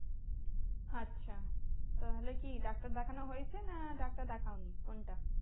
আচ্ছা তাহলে কি ডাক্তার দেখানো হয়েছে? না ডাক্তার দেখাও নি কোনটা?